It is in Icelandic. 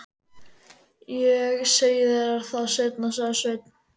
Ég segi þér það seinna, sagði Sveinn.